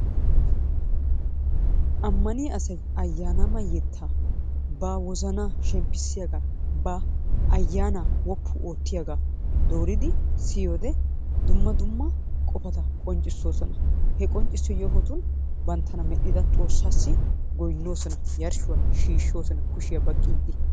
Ammaniyaa asay ayyanama yettaa, ba wozana shemppissiyaaga, bva ayyanaa woppu oottiyaaga dooridi siyyiyoode dumma dumma qofata qonccissoosona. He qonccisso yohotu banttana medhdhida Xoossassoi goynnoosona. Yarshshuwa shiishshoosona, kushiya baqqiiddi.